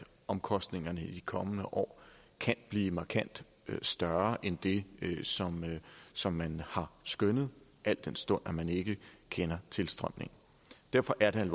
omkostningerne i de kommende år kan blive markant større end det som man har skønnet al den stund at man ikke kender tilstrømningen derfor er det